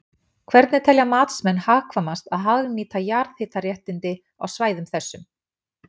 Hvernig telja matsmenn hagkvæmast að hagnýta jarðhitaréttindi á svæðum þessum?